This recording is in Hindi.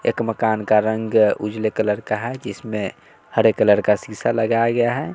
एक मकान का रंग उजले कलर का है जिसमें हरे कलर शीशा लगाया गया है।